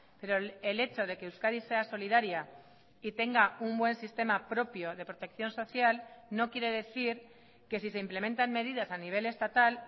pero el echo de que euskadi sea solidaria y tenga un buen sistema propio de protección social no quiere decir que si se implementan medidas a nivel estatal